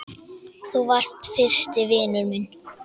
Þú varst fyrsti vinur minn.